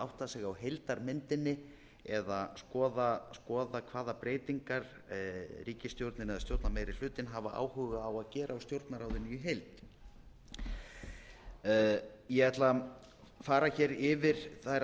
átta sig á heildarmyndinni eða skoða hvaða breytingar ríkisstjórnin eða stjórnarmeirihlutinn hafa áhuga á að gera á stjórnarráðinu í heild ég ætla að fara hér yfir þær